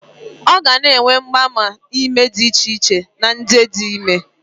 Ọ ga na-enwe mgbaàmà ime dị icheiche na idi ime